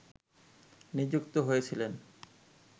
নিযুক্ত হয়েছিলেন